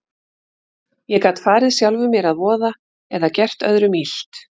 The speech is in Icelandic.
Ég gat farið sjálfum mér að voða eða gert öðrum illt.